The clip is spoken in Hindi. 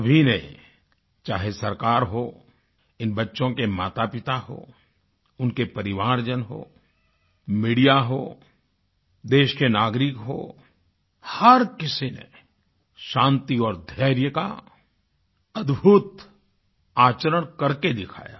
सभी ने चाहे सरकार हो इन बच्चों के मातापिता हों उनके परिवारजन हों मीडिया हो देश के नागरिक हों हर किसी ने शान्ति और धैर्य का अदभुत आचरण करके दिखाया